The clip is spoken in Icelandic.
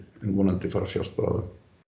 vonandi fara að sjást bráðum